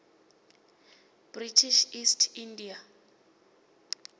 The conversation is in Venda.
british east india